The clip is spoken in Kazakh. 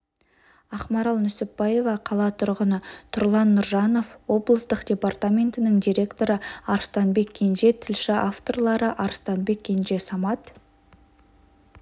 ақмарал нүсіпбаева қала тұрғыны тұрлан нұржанов облыстық департаментінің директоры арыстанбек кенже тілші авторлары арыстанбек кенже самат